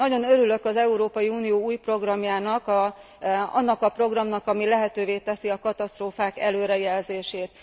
Nagyon örülök az Európai Unió új programjának, annak a programnak, ami lehetővé teszi a katasztrófák előrejelzését.